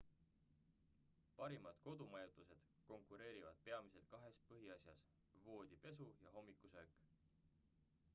parimad kodumajutused konkureerivad peamiselt kahes põhiasjas voodipesu ja hommikusöök